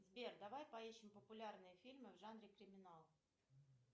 сбер давай поищем популярные фильмы в жанре криминал